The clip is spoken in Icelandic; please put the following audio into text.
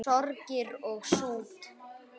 Sorgir og sút